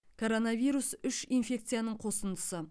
коронавирус үш инфекцияның қосындысы